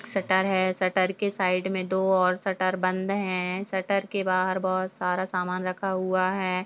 Shutter है shutter के side में दो और शटर बंद हैं शटर के बाहर बहोत सारा सामान रखा हुआ है।